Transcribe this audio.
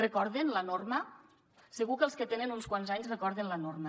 recorden la norma segur que els que tenen uns quants anys recorden la norma